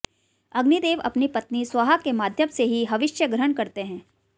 अग्निदेव अपनी पत्नी स्वाहा के माध्यम से ही हविष्य ग्रहण करते हैं